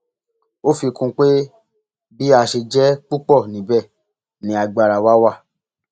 ó fi kún un pé bí a ṣe jẹ púpọ níbẹ ni agbára wa wà